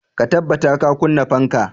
Ka tabbata ka kunna fanka!